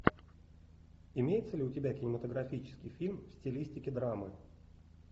имеется ли у тебя кинематографический фильм в стилистике драмы